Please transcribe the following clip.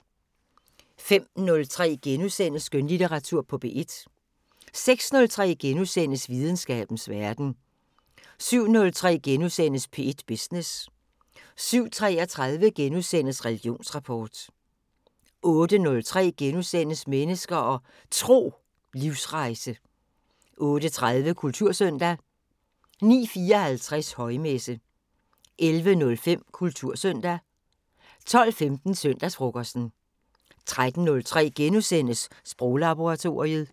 05:03: Skønlitteratur på P1 * 06:03: Videnskabens Verden * 07:03: P1 Business * 07:33: Religionsrapport * 08:03: Mennesker og Tro: Livsrejse * 08:30: Kultursøndag 09:54: Højmesse - 11:05: Kultursøndag 12:15: Søndagsfrokosten 13:03: Sproglaboratoriet *